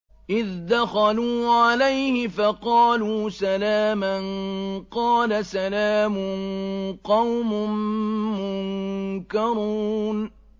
إِذْ دَخَلُوا عَلَيْهِ فَقَالُوا سَلَامًا ۖ قَالَ سَلَامٌ قَوْمٌ مُّنكَرُونَ